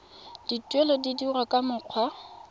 dituelo di dirwa ka mokgwa